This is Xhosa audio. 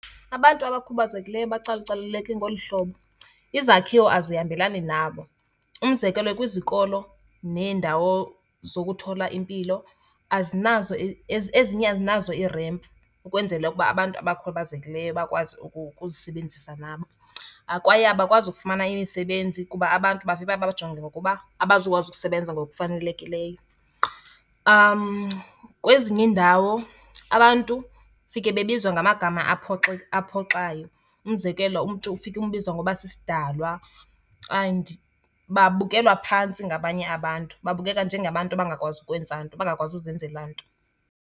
Abantu abakhubazekileyo bacalucaluleke ngolu hlobo, izakhiwo azihambelani nabo. Umzekelo kwizikolo neendawo zokuthola impilo azinazo ezinye azinazo ii-ramp ukwenzele ukuba abantu abakhubazekileyo bakwazi ukuzisebenzisa nabo. Kwaye abakwazi ukufumana imisebenzi kuba abantu bavele babajonge ngokuba abazukwazi ukusebenza ngokufanelekileyo. Kwezinye iindawo abantu ufike bebizwa ngamagama aphoxayo. Umzekelo umntu ufike umbize ngoba sisidalwa and babukelwa phantsi ngabanye abantu, babukeka njengabantu abangakwazi ukwenza into, abangakwazi uzenzela nto.